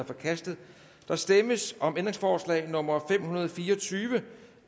forkastet der stemmes om ændringsforslag nummer fem hundrede og fire og tyve